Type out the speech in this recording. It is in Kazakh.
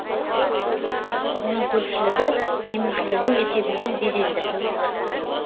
оның көпшілігі демеушілердің есебінен безендіріліп отыр